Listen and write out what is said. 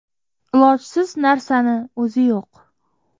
Ilojsiz narsani o‘zi yo‘q.